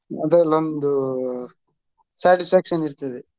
ಅದ್ರಲ್ ಒಂದು satisfaction ಇರ್ತದೆ.